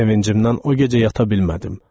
Sevincimdən o gecə yata bilmədim.